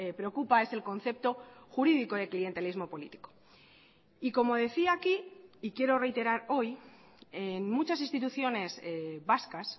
preocupa es el concepto jurídico de clientelismo político y como decía aquí y quiero reiterar hoy en muchas instituciones vascas